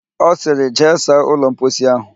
Ọ sịrị, jee saa ụlọ mposi ahụ!